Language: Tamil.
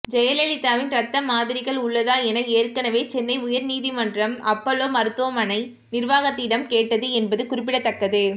ஜெயலலிதாவின் ரத்த மாதிரிகள் உள்ளதா என ஏற்கனவே சென்னை உயர் நீதிமன்றம் அப்போலோ மருத்துவமனை நிர்வாகத்திடம் கேட்டது என்பது குறிப்பிடத்தக்கது